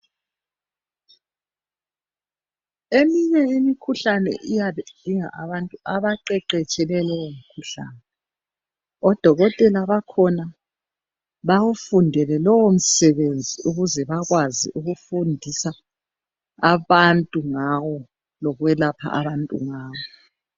Eminye imikhuhlane iyabe idinga abantu abaqeqetshele lowo mkhuhlane . Odokotela bakhona bawufundele lowo msebenzi ukuze bakwazi ukufundisa abantu ngawo, lokwelapha abantu ngawo.